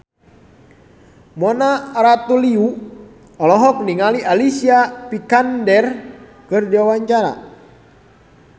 Mona Ratuliu olohok ningali Alicia Vikander keur diwawancara